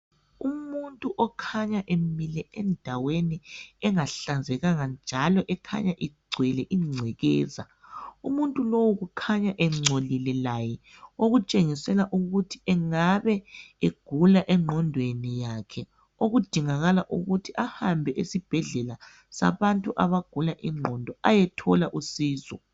Umuntu okhanya emile endaweni engahlanzeka njalo ekhanya igcwele ingcekeza umuntu lowu ukhanya engcolile laye okutshengisela ukuthi engabe egula engqondweni yakhe okudingakala ukuthi ahambe esibhedlela sabantu àbagula ingqondo ayethola usizo.